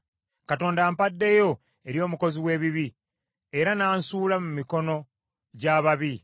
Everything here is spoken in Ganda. Katonda ampaddeyo eri omukozi w’ebibi, era n’ansuula mu mikono gy’ababi.